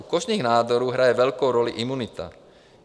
U kožních nádorů hraje velkou roli imunita.